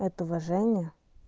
это уважение